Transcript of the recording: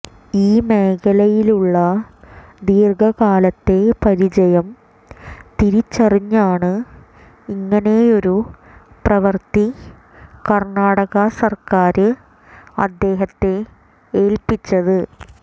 ഈ മേഖലയിലുള്ള ദീര്ഘകാലത്തെ പരിചയം തിരിച്ചറിഞ്ഞാണ് ഇങ്ങനെയൊരു പ്രവൃത്തി കര്ണാടക സര്ക്കാര് അദ്ദേഹത്തെ ഏല്പിച്ചത്